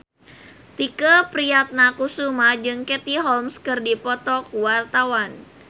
Tike Priatnakusuma jeung Katie Holmes keur dipoto ku wartawan